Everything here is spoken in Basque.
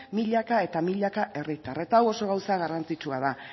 milaka eta milaka herritar eta hau oso gauza garrantzitsua da